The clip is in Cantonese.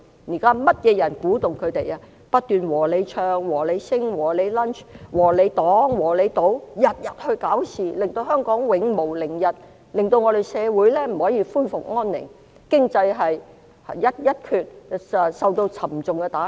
現在是甚麼人不斷鼓動他們，不斷"和你唱"、"和你 sing"、"和你 lunch"、"和你擋"、"和你堵"，天天生事，令香港永無寧日，社會不可以恢復安寧，經濟受到沉重打擊？